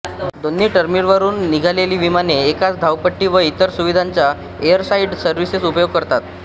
दोन्ही टर्मिनलवरून निघालेली विमाने एकाच धावपट्टी व इतर सुविधांचा एअरसाइड सर्व्हिसेस उपयोग करतात